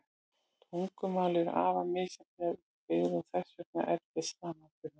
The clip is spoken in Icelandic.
Tungumál eru afar misjafnlega upp byggð og þess vegna erfið samanburðar.